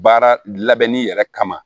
Baara labɛnni yɛrɛ kama